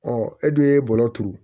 Ɔ e dun ye bɔlɔ turu